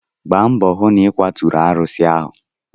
Gba mbọ hụ na ịkwaturu arụsị ahụ!